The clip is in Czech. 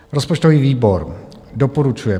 Rozpočtový výbor doporučuje